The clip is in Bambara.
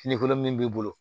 Fini kolon min b'i bolo